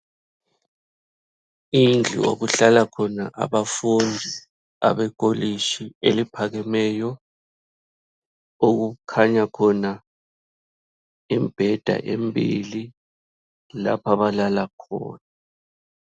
Indlu okuhlala khona abafundi abekolitshi eliphakemeyo okukhanya khona imbheda embili lapha abalala khona.